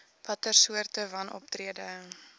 watter soorte wanoptrede